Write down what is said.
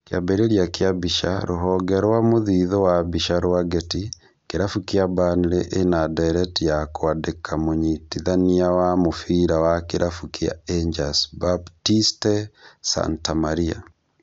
Kĩambĩrĩria kĩa mbica, rũhonge rwa mũthithũ wa mbica rwa Getty, kĩrabu kĩa Burnley ĩnandereti ya kwandĩka mũnyitithania wa mũbĩra wa kĩrabu kĩa Angers Baptiste Santamaria